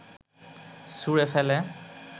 ছুঁড়ে ফেলে